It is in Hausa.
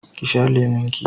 ki sha lemon ki!